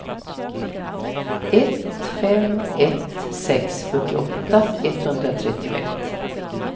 ett fem ett sex fyrtioåtta etthundratrettioett